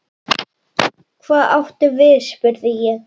Hvað áttu við spurði ég.